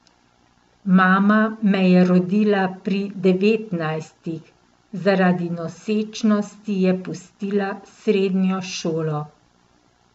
Mama me je rodila pri devetnajstih, zaradi nosečnosti je pustila srednjo šolo.